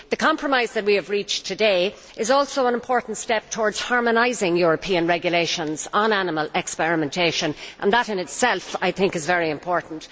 The compromise that we have reached today is also an important step towards harmonising European regulations on animal experimentation and that, in itself, I think, is very important.